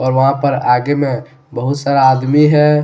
और वहां पर आगे में बहुत सारा आदमी है।